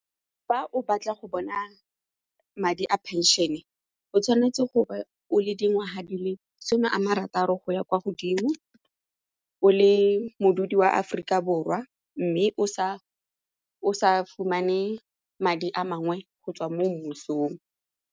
Fa o batla go bona madi a pension-e o tshwanetse go be o le dingwaga di le some a marataro go ya kwa godimo, o le modudi wa Aforika Borwa mme o sa fumane madi a mangwe go tswa mo mmusong.